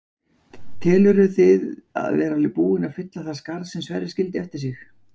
Telurðu þið vera búinn að fylla það skarð sem Sverrir skildi eftir sig?